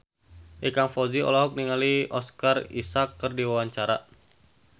Ikang Fawzi olohok ningali Oscar Isaac keur diwawancara